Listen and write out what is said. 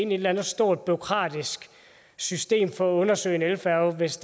eller andet stort bureaukratisk system for at undersøge en elfærge hvis